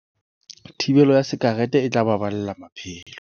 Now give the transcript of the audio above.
Thibelo ya sakerete e tla baballa maphelo